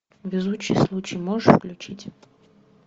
везучий случай можешь включить